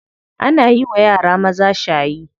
Ana yiwa yara maza shayi.